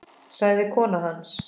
sagði kona hans.